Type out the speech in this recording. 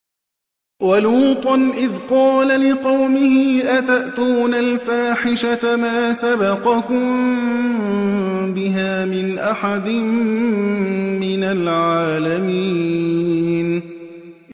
وَلُوطًا إِذْ قَالَ لِقَوْمِهِ أَتَأْتُونَ الْفَاحِشَةَ مَا سَبَقَكُم بِهَا مِنْ أَحَدٍ مِّنَ الْعَالَمِينَ